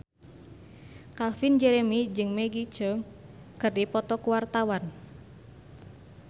Calvin Jeremy jeung Maggie Cheung keur dipoto ku wartawan